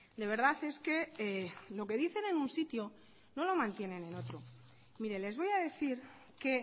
de verdad es que lo que dicen en un sitio no lo mantienen en otro mire les voy a decir que